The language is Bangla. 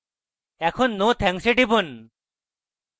এখন no thanks এ টিপুন